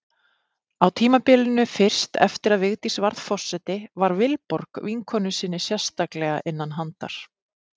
Á tímabilinu fyrst eftir að Vigdís varð forseti var Vilborg vinkonu sinni sérstaklega innan handar.